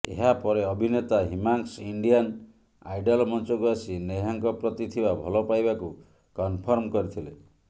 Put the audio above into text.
ଏହାପରେ ଅଭିନେତା Himansh Indian Idol ମଞ୍ଚକୁ ଆସି ନେହାଙ୍କ ପ୍ରତି ଥିବା ଭଲପାଇବାକୁ କନ୍ଫର୍ମ କରିଥିଲେ